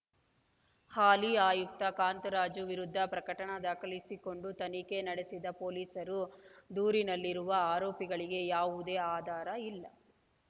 ಹಾಲಿ ಆಯುಕ್ತ ಕಾಂತರಾಜು ವಿರುದ್ಧ ಪ್ರಕಟಣ ದಾಖಲಿಸಿಕೊಂಡು ತನಿಖೆ ನಡೆಸಿದ ಪೊಲೀಸರು ದೂರಿನಲ್ಲಿರುವ ಆರೋಪಗಳಿಗೆ ಯಾವುದೇ ಆಧಾರ ಇಲ್ಲ